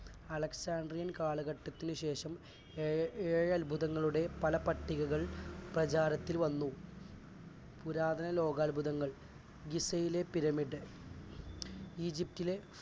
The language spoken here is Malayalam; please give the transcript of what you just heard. alexandrian കാലഘട്ടത്തിനുശേഷം ഏഴ്ഏഴത്ഭുതങ്ങളുടെ പല പട്ടികകൾ പ്രചാരത്തിൽ വന്നു. പുരാതന ലോകാത്ഭുതങ്ങൾ ജിസയിലെ പിരമിഡ് ഈജിപ്റ്റിലെ